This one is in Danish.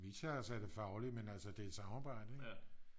Vi tager os af det faglige men altså det er et samarbejde ikke